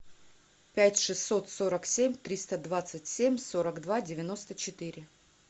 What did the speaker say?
пять шестьсот сорок семь триста двадцать семь сорок два девяносто четыре